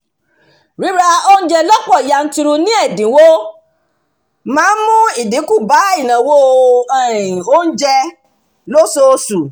ríra oúnjẹ lọ́pọ̀ yanturu ní ẹ̀dínwó máa ń mú ìdínkù bá ìnáwó um oúnjẹ lóṣooṣù